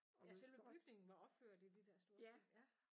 Ja selve bygningen var opført i de der store sten ja